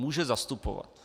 Může zastupovat.